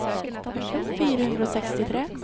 fire hundre og sekstitre